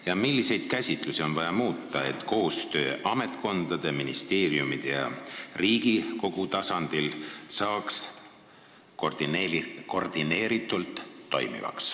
Ja milliseid käsitlusi oleks vaja muuta, et koostöö ametkondade, ministeeriumide ja Riigikogu tasandi vahel toimiks koordineeritult?